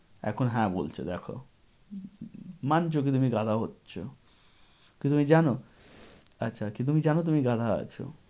এখন হ্যাঁ বলছে দেখ। মানছ যে তুমি গাধা হচ্ছ। কি তুমি জানো? কি তুমি জানো যে তুমি গাধা আছো।